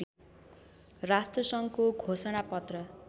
राष्ट्रसङ्घको घोषणा पत्र